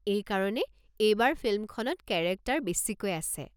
এইকাৰণে এইবাৰ ফিল্মখনত কেৰেক্টাৰ বেছিকৈ আছে।